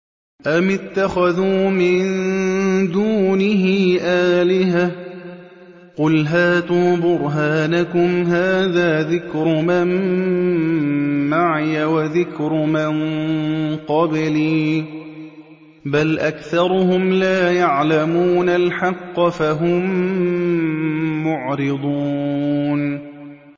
أَمِ اتَّخَذُوا مِن دُونِهِ آلِهَةً ۖ قُلْ هَاتُوا بُرْهَانَكُمْ ۖ هَٰذَا ذِكْرُ مَن مَّعِيَ وَذِكْرُ مَن قَبْلِي ۗ بَلْ أَكْثَرُهُمْ لَا يَعْلَمُونَ الْحَقَّ ۖ فَهُم مُّعْرِضُونَ